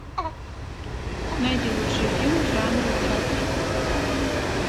найди лучший фильм жанра театр